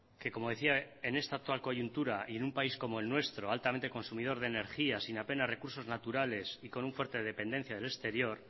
que como decía en esta actual coyuntura y en un país como el nuestro altamente consumidor de energía sin apenas recursos naturales y con una fuerte dependencia del exterior